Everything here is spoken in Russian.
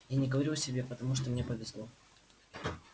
я не говорю о себе потому что мне повезло